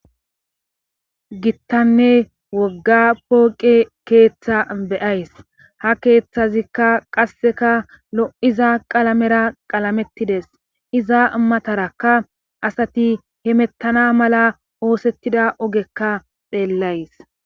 Gittanne wogga pooqe keeththa beyays ha keeththazikka qasseka lo7iza qalamera qalamettides iza matarakka asati hemettana mala oosettida ogekka pheellays.